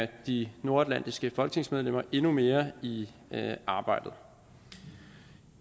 de nordatlantiske folketingsmedlemmer endnu mere i arbejdet